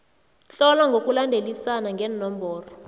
tlola ngokulandelisana ngeenomboro